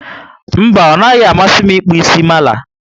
Mba, onaghi amasi m ịkpụ mala